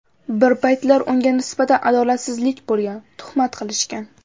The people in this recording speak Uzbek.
Bir paytlar unga nisbatan adolatsizlik bo‘lgan, tuhmat qilishgan.